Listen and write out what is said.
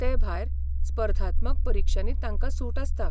ते भायर, स्पर्धात्मक परिक्षांनी तांकां सूट आसता.